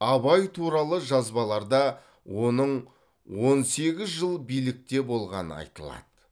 абай туралы жазбаларда оның он сегіз жыл билікте болғаны айтылады